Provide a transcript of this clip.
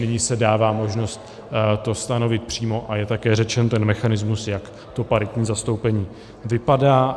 Nyní se dává možnost to stanovit přímo a je také řečen ten mechanismus, jak to paritní zastoupení vypadá.